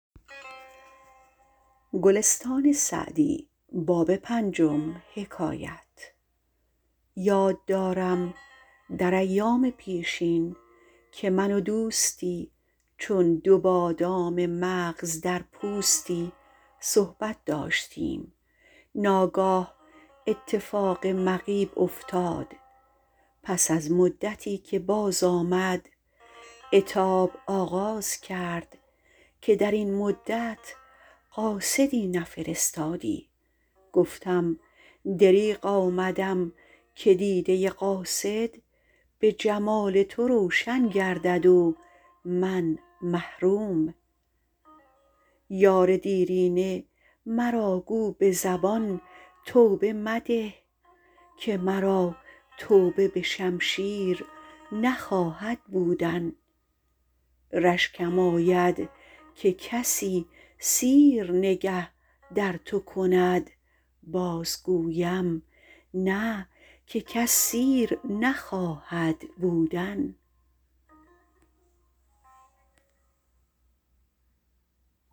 یاد دارم در ایام پیشین که من و دوستی چون دو بادام مغز در پوستی صحبت داشتیم ناگاه اتفاق مغیب افتاد پس از مدتی که باز آمد عتاب آغاز کرد که در این مدت قاصدی نفرستادی گفتم دریغ آمدم که دیده قاصد به جمال تو روشن گردد و من محروم یار دیرینه مرا گو به زبان توبه مده که مرا توبه به شمشیر نخواهد بودن رشکم آید که کسی سیر نگه در تو کند باز گویم نه که کس سیر نخواهد بودن